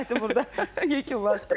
Söhbəti burda yekunlaşdıraq.